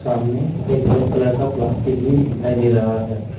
सामने एक red colour का प्लास्टिक भी दिखाई दे रहा है।